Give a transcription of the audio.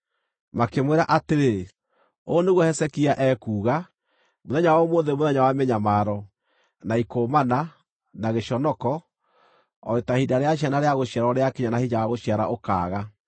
Makĩmwĩra atĩrĩ, “Ũũ nĩguo Hezekia ekuuga: Mũthenya wa ũmũthĩ nĩ mũthenya wa mĩnyamaro, na ikũũmana, na gĩconoko, o ta ihinda rĩa ciana rĩa gũciarwo rĩakinya na hinya wa gũciara ũkaaga.